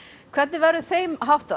hvernig verður þeim háttað